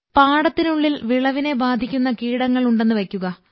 പാടത്തിനുള്ളിൽ വിളവിനെ ബാധിക്കുന്ന കീടങ്ങൾ ഉണ്ടെന്ന് വയ്ക്കുക